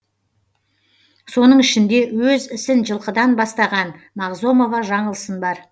соның ішінде өз ісін жылқыдан бастаған мағзомова жаңылсын бар